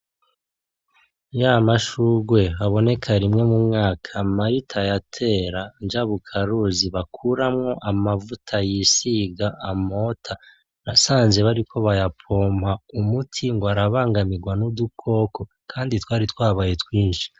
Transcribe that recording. Ya mashugwe aboneka rimwe mu mwaka Marita yatera, njabukaruzi bakuramwo amavuta yisiga amota, nasanze bariko baraya pompa umuti ngwarabangamigwa n'udukoko, kandi twari twabaye twinshi.